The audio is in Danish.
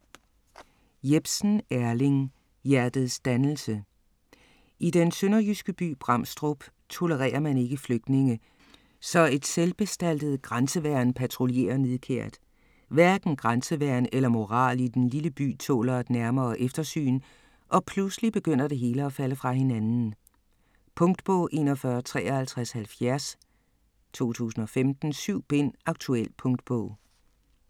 Jepsen, Erling: Hjertets dannelse I den sønderjyske by Bramstrup tolererer man ikke flygtninge, så et selvbestaltet grænseværn patruljerer nidkært. Hverken grænseværn eller moral i den lille by tåler et nærmere eftersyn, og pludselig begynder det hele at falde fra hinanden. Punktbog 415370 2015. 7 bind. Aktuel punktbog